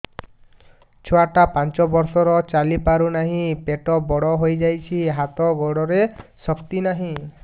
ଛୁଆଟା ପାଞ୍ଚ ବର୍ଷର ଚାଲି ପାରୁ ନାହି ପେଟ ବଡ଼ ହୋଇ ଯାଇଛି ହାତ ଗୋଡ଼ରେ ଶକ୍ତି ନାହିଁ